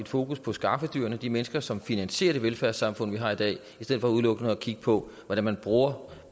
fokus på skaffedyrene altså de mennesker som finansierer det velfærdssamfund vi har i dag i stedet for udelukkende at kigge på hvordan man bruger